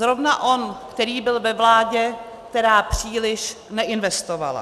Zrovna on, který byl ve vládě, která příliš neinvestovala.